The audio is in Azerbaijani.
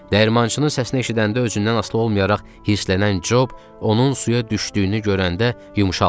Dəyirmançının səsini eşidəndə özündən asılı olmayaraq hirslənən Job onun suya düşdüyünü görəndə yumşaldı.